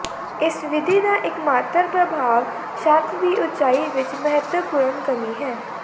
ਇਸ ਵਿਧੀ ਦਾ ਇੱਕਮਾਤਰ ਪ੍ਰਭਾਵ ਛੱਤ ਦੀ ਉਚਾਈ ਵਿੱਚ ਮਹੱਤਵਪੂਰਨ ਕਮੀ ਹੈ